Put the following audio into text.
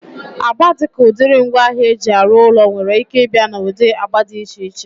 Agba dịka udiri ngwaahịa eji arụ ụlọ nwere ike ịbịa na ụdị agba dị iche